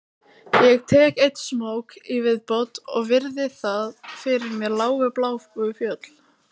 Ég tek einn smók í viðbót og virði fyrir mér lágu bláu fjöll